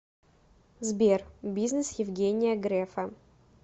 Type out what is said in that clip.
сбер бизнес евгения грефа